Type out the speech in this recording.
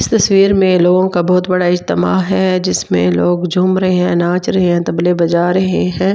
इस तसवीर में लोगों का बहुत बड़ा इजतमा है जिसमें लोग झूम रहे हैं नाच रहे हैं तबले बजा रहे हैं।